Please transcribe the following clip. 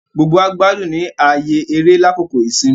Gbogbo wá gbádùn ní ààyè eré lákòókò ìsinmi